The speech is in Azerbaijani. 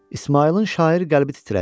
İsmayılın şair qəlbi titrədi.